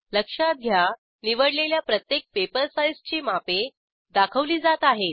लक्षात घ्या निवडलेल्या प्रत्येक पेपर साईजची मापे दाखवली जात आहेत